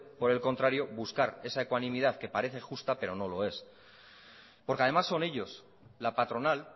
por el contrario esa ecuanimidad que parece justa pero no lo es porque además son ellos la patronal